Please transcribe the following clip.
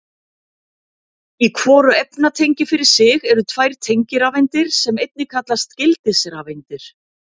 Í hvoru efnatengi fyrir sig eru tvær tengirafeindir sem einnig kallast gildisrafeindir.